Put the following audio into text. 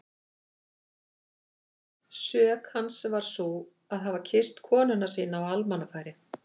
Sök hans var sú að hafa kysst konuna sína á almannafæri!